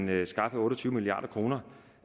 vil skaffe otte og tyve milliard kroner